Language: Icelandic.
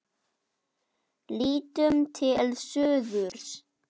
Lítum til suðurs.